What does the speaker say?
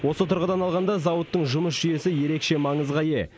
осы тұрғыдан алғанда зауыттың жұмыс жүйесі ерекше маңызға ие